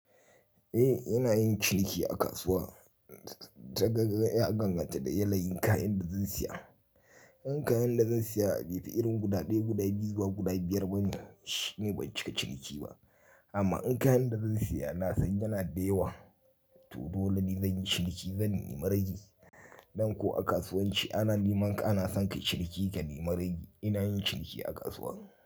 Eh ina yin cilki a kasuwa ta gangan ya danganta da yayayin kayan da zan saya. In kayan da zan saya bai fi irin guda ɗaya, guda biyu zuba guda biyar bane shi ne ban cika ciniki ba. Amma in kayan da zan saya na san yana da yawa to dole ne zan yi ciniki zan nemi rage. Don ko a kasuwanci ana neman ka, ana son ka ciniki ka nemi ragi. Ina yin ciliki a kasuwa.